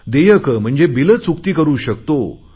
देयक म्हणजे बिल चुकती करु शकतो